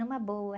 Numa boa.